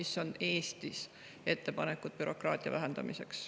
Rain Epler, palun!